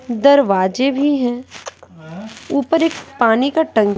दरवाज़े भी है उपर एक पानी का टंकी--